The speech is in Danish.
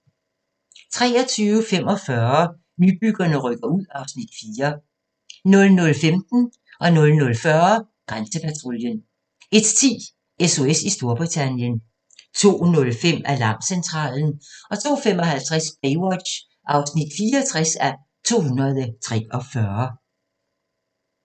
23:45: Nybyggerne rykker ud (Afs. 4) 00:15: Grænsepatruljen 00:40: Grænsepatruljen 01:10: SOS i Storbritannien 02:05: Alarmcentralen 02:55: Baywatch (64:243)